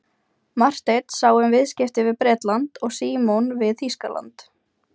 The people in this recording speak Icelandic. Marteinn sá um viðskipti við Bretland og Símon við Þýskaland.